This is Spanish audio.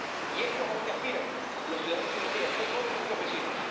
Y esto es a lo que aspiran los ciudadanos europeos, no solo nuestros vecinos.